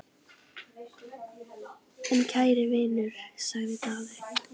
En kæri vinur, sagði Daði.